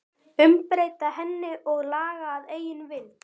Umbreyta henni og laga að eigin vild?